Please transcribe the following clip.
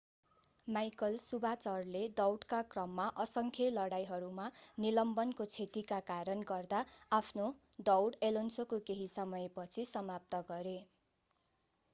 Michael शुमाचरले दौडका क्रममा असंख्य लडाईंहरूमा निलम्बनको क्षतिका कारणले गर्दा आफ्नो दौड एलोन्सोको केही समयपछि समाप्त गरे